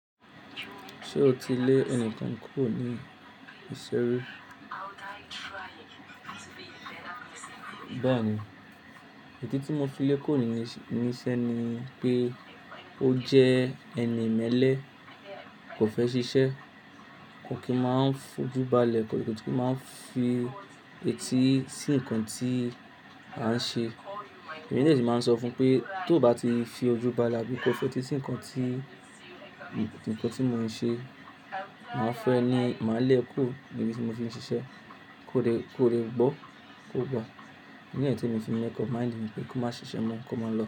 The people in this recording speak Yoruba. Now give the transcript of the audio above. Ṣé o ti lé ẹnikan kúrò ní isé rí? Béèni, ìdí tí mo fi lé kúrò nísé ní pé ó jẹ́ ẹni ìmẹ́lẹ́, kò fẹ́ ṣiṣẹ́, kò kí máa ń fi ojú ba lẹ̀, kò kí máa ń fi etí sí nǹkan tí à ń ṣe. Èmi ní èyí tí màá ń sọ fún pé tó bá ti fi ojú ba lẹ̀ bí kò fẹ́ fi etí sí nǹkan tí nǹkan tí mò ń ṣe, màá fẹ́ ni màá lé e kúrò níbi tí mo ti ń ṣiṣẹ́, kó dẹ̀ kó dẹ̀ gbọ́, kó gbà Ìdí nì yìí tí mo ti ń yẹ kọ́, màá dì í pé kó má ṣiṣẹ́ mọ́, kó má lọ.